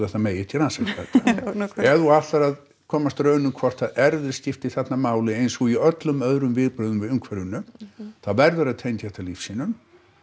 það megi ekki rannsaka þetta ef þú ætlar að komast að raun um hvort að erfðir skipti þarna máli eins og í öllum öðrum viðbrögðum við umhverfinu þá verðurðu að tengja þetta lífsýnum